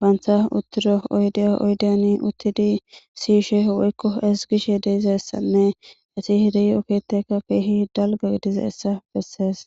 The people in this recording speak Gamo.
banta uttido oydiya oydiyan uttidi siyishe woykko ezgishe de'izayssanne eti de'iyo keettaykka keehi dalggay gidizayssa beesses.